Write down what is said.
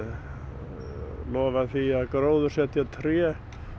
lofa því að gróðursetja tré